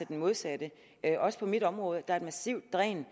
den modsatte også på mit område er der et massivt dræn